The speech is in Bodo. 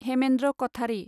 हेमेन्द्र कथारि